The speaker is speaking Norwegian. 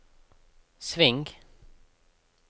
sving